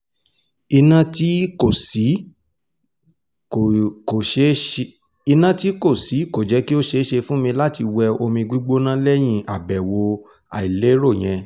iná tí kò sí kò jẹ́ kí ó ṣeé ṣe fún mi láti wẹ omi gbígbóná lẹ́yìn àbẹ̀wò àìlérò yẹn